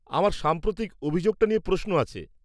-আমার সাম্প্রতিক অভিযোগটা নিয়ে প্রশ্ন আছে।